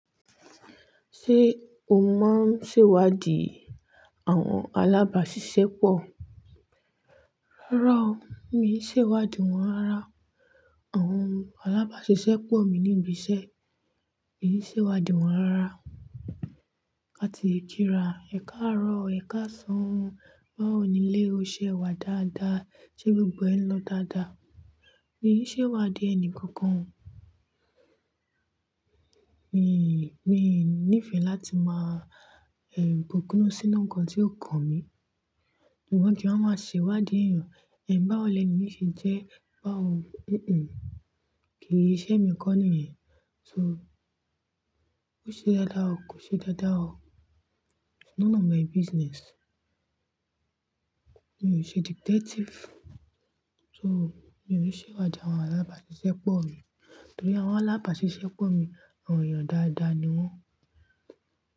Ṣé o máa ń ṣèwádìí àwọn alábàáṣiṣẹ́ pọ̀? Rárá o, mi i ṣèwádìí wọn rárá. Àwọn alábáṣiṣẹ́ pọ̀ mi ní ibi iṣẹ́, mi i ṣèwádìí wọn rárá. Ká ti i kirà ẹ̀ka àárọ̀ o, ẹ̀ka ọ̀sán o, báwo ni lé o, ṣe ẹ̀ wá dáadáa, ṣé gbogbo ẹn lọ dáadáa? Mi i ṣèwádìí ẹni kankan o. Mi i, mi i nìfẹ̀ láti máa, ẹ́m, bùkúnú sínú nǹkan tí ó kan mi. Ìwọ́n kí wọ́n máa ṣèwádìí èèyàn. Ẹ̀ bá wò lè ni yìí ṣé jẹ́, báwo? Kì í ṣe mi kọ́ nìyẹn. So ó ṣe dáadáa o, kò ṣe dáadáa o. It's none of my business. Mi ò ṣe detective. So èmi ò rí ṣèwádìí àwọn alábàáṣiṣẹ́ pọ̀ mi. Torí àwọn alábàáṣiṣẹ́ pọ̀ mi, àwọn èèyàn dáadáa ni wọ́n.